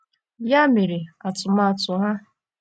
Ya mere, atụmatụ ha